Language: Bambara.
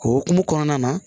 O hukumu kɔnɔna na